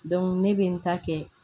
ne bɛ n ta kɛ